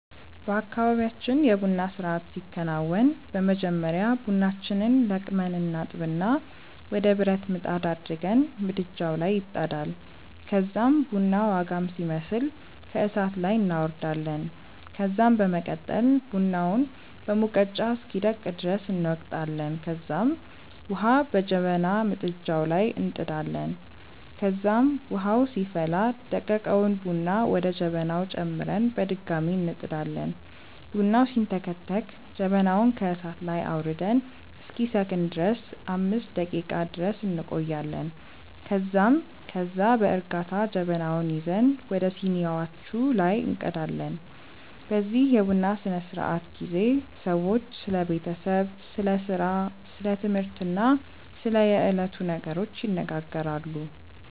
በአካባብያችን የ ቡና ስርአት ሲከናወን በመጀመሪያ ቡናችንን ለቅመን እናጥብና ወደ ብረት ምጣድ አድርገን ምድጃዉ ላይ ይጣዳል ከዛም ቡናዉ አጋም ሲመስል ከእሳት ላይ እናወርዳለን ከዛም በመቀጠል ቡናውን በሙቀጫ እስኪደቅ ድረስ እንወቅጣለንከዛም ዉሀ በጀበና ምድጃዉ ላይ እንጥዳለን ከዛም ዉሀዉ ሲፈላ ደቀቀዉን ቡና ወደ ጀበናዉ ጨምረን በድጋሚ እንጥዳለን። ቡናዉ ሲንተከተክ ጀበናዉን ከእሳት ላይ አዉርደን እስኪሰክን ድረስ 5 ደቄቃ ድረስ እንቆያለን ከዛም ከዛ በእርጋታ ጀበናዉን ይዘን ወደ ሲኒዋቹ ላይ እንቀዳለን። በዚህ የቡና ስነስርዓት ጊዜ ሰዎች ስለ ቤተሰብ፣ ስለ ስራ፣ ስለ ትምህርት እና ስለ የዕለቱ ነገሮች ይነጋገራሉ።